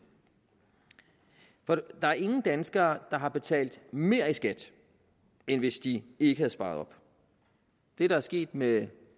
der er ingen danskere der har betalt mere i skat end hvis de ikke havde sparet op det der er sket med